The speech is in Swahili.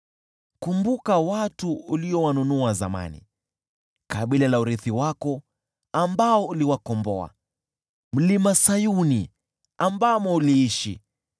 Kumbuka watu uliowanunua zamani, kabila la urithi wako, ambao uliwakomboa: Mlima Sayuni, ambamo uliishi.